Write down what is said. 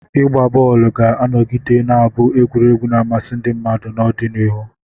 Ịgba bọọlụ ga-anọgide na-abụ egwuregwu na-amasị ndị mmadụ n'ọdịnihu.